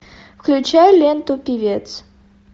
включай ленту певец